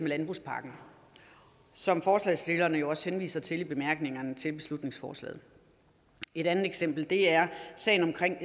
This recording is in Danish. landbrugspakken som forslagsstillerne jo også henviser til i bemærkningerne til beslutningsforslaget et andet eksempel er sagen omkring